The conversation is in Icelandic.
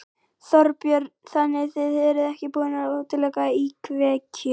Þorbjörn: Þannig þið eruð ekki búnir að útiloka íkveikju?